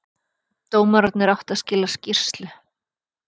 Dómararnir áttu að skila skýrslu